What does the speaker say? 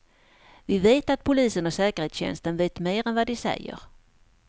Vi vet att polisen och säkerhetstjänsten vet mer än vad de säger.